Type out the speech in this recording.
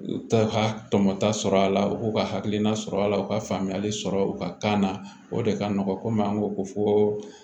U ta ka tɔmɔta sɔrɔ a la u k'u ka hakilina sɔrɔ a la u ka faamuyali sɔrɔ u ka kan na o de ka nɔgɔn komi an ko ko fo